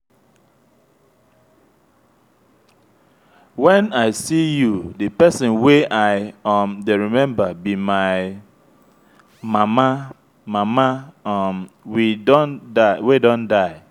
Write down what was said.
wen i see you the person wey i um dey remember be my mama mama um wey don die